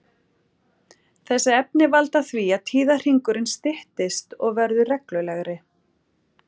Þessi efni valda því að tíðahringurinn styttist og verður reglulegri.